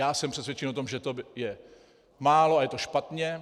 Já jsem přesvědčen o tom, že to je málo a je to špatně.